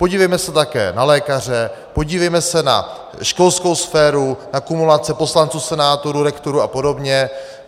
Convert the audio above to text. Podívejme se také na lékaře, podívejme se na školskou sféru, na kumulace poslanců, senátorů, rektorů a podobně.